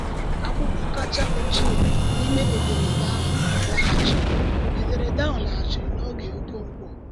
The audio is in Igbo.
Akwụkwọ kacha ochie n’ime ederede ahụ laghachiri ederede ahụ laghachiri n’oge Okonkwo.